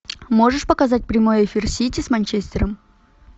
можешь показать прямой эфир сити с манчестером